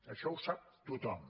això ho sap tothom